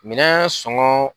Minɛn sɔngɔn